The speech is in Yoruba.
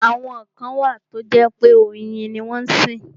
Àwọn kan wà tó jẹ́ pé oyin ni wọ́n sìn.